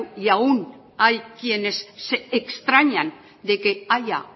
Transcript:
y aún hay quienes se extrañan de que haya